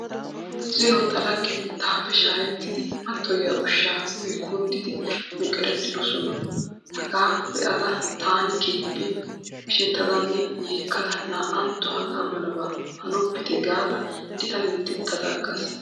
Zino ta laggeti taappe shaakettidi mattoyiya ushshaa uyi kunddidi meqeretidosona. Hagaa be'ada taani keehippe mishettadanne yeekkada naa'antto hagaa malabaa hanoppite gaada eta minttettada aggaas.